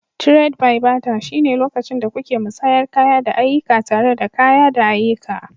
Tred-bai-bata shine lokacin da kuke musayar kaya da ayyuka tare da kaya da ayyuka.